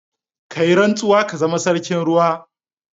Ka yi rantsuwa ka zama sarkin ruwa.